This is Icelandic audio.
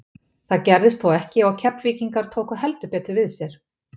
Það gerðist þó ekki og Keflvíkingar tóku heldur betur við sér.